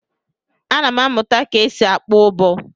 Ana m amụta ka e si akpọ ụbọ.